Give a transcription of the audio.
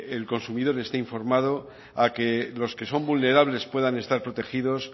el consumidor esté informado a que los que son vulnerables puedan estar protegidos